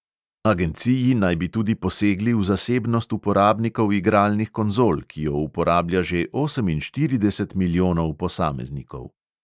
Agenciji naj bi tudi posegli v zasebnost uporabnikov igralnih konzol, ki jo uporablja že oseminštirideset milijonov posameznikov.